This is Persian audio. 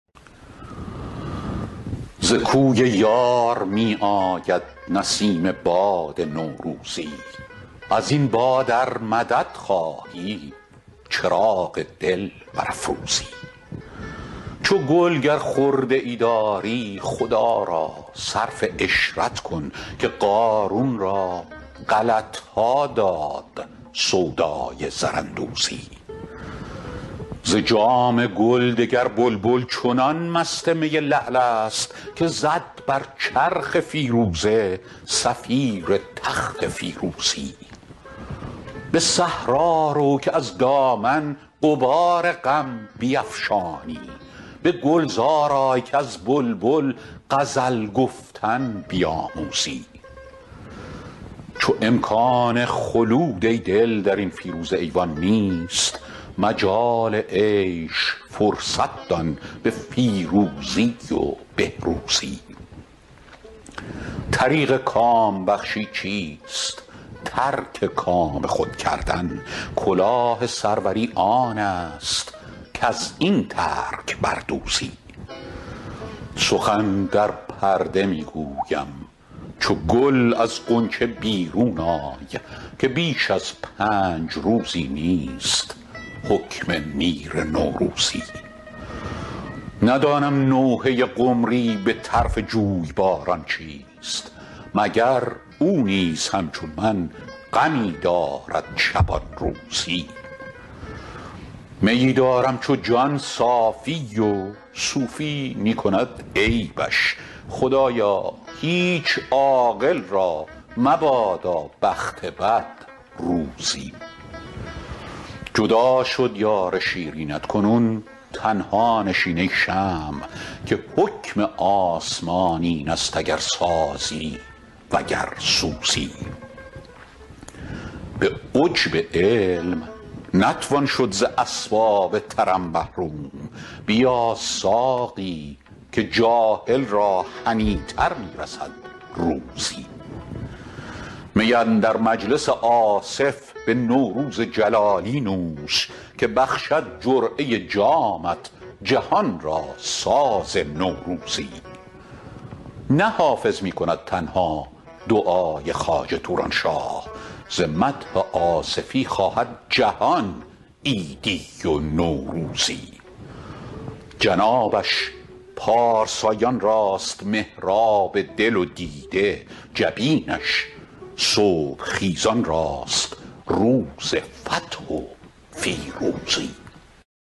ز کوی یار می آید نسیم باد نوروزی از این باد ار مدد خواهی چراغ دل برافروزی چو گل گر خرده ای داری خدا را صرف عشرت کن که قارون را غلط ها داد سودای زراندوزی ز جام گل دگر بلبل چنان مست می لعل است که زد بر چرخ فیروزه صفیر تخت فیروزی به صحرا رو که از دامن غبار غم بیفشانی به گلزار آی کز بلبل غزل گفتن بیاموزی چو امکان خلود ای دل در این فیروزه ایوان نیست مجال عیش فرصت دان به فیروزی و بهروزی طریق کام بخشی چیست ترک کام خود کردن کلاه سروری آن است کز این ترک بر دوزی سخن در پرده می گویم چو گل از غنچه بیرون آی که بیش از پنج روزی نیست حکم میر نوروزی ندانم نوحه قمری به طرف جویباران چیست مگر او نیز همچون من غمی دارد شبان روزی میی دارم چو جان صافی و صوفی می کند عیبش خدایا هیچ عاقل را مبادا بخت بد روزی جدا شد یار شیرینت کنون تنها نشین ای شمع که حکم آسمان این است اگر سازی و گر سوزی به عجب علم نتوان شد ز اسباب طرب محروم بیا ساقی که جاهل را هنی تر می رسد روزی می اندر مجلس آصف به نوروز جلالی نوش که بخشد جرعه جامت جهان را ساز نوروزی نه حافظ می کند تنها دعای خواجه توران شاه ز مدح آصفی خواهد جهان عیدی و نوروزی جنابش پارسایان راست محراب دل و دیده جبینش صبح خیزان راست روز فتح و فیروزی